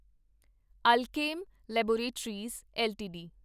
Alkem laboratories LTD